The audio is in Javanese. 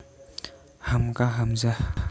Hamka Hamzah